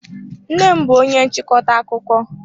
Nnem bú onye nchịkọta akụkọ.